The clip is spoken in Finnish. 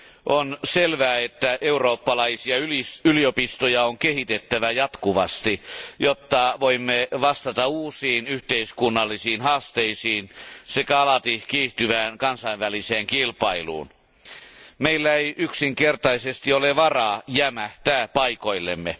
On selvää, että eurooppalaisia yliopistoja on kehitettävä jatkuvasti, jotta voimme vastata uusiin yhteiskunnallisiin haasteisiin sekä alati kiihtyvään kansainväliseen kilpailuun. Meillä ei yksinkertaisesti ole varaa jämähtää paikoillemme.